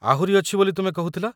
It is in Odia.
ଆହୁରି ଅଛି ବୋଲି ତୁମେ କହୁଥିଲ ?